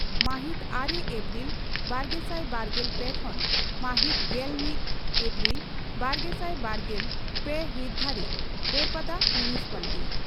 ᱢᱟᱦᱤᱛ ᱟᱨᱮ ᱮᱯᱨᱤᱞ ᱵᱟᱨᱜᱮᱥᱟᱭ ᱵᱟᱨᱜᱮᱞ ᱯᱮ ᱠᱷᱚᱱ ᱢᱟᱦᱤᱛ ᱜᱮᱞ ᱢᱤᱛ ᱮᱯᱨᱤᱞ ᱵᱟᱨᱜᱮᱥᱟᱭ ᱵᱟᱨᱜᱮᱞ ᱯᱮ ᱦᱤᱛ ᱫᱷᱟᱹᱨᱤᱡ ᱵᱟᱹᱨᱯᱟᱫᱟ ᱢᱩᱱᱥᱤᱯᱟᱞᱴᱤ